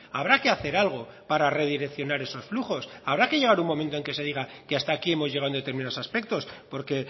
habrá que hacer algo para redireccionar esos flujos habrá que llegar un momento que se diga que hasta aquí hemos llegado en determinados aspectos porque